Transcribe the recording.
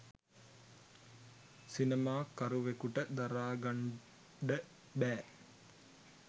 සිනමා කරුවෙකුට දරාගන්ඩ බෑ.